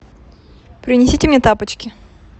принесите мне тапочки